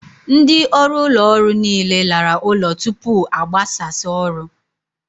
Ndị ọrụ ụlọ ọrụ niile lara ụlọ tupu a gbasas oru